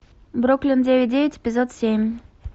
бруклин девять девять эпизод семь